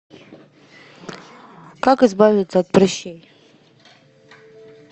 как избавиться от прыщей